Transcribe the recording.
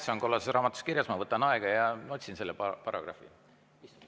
See on kollases raamatus kirjas, ma võtan aja ja otsin selle paragrahvi üles.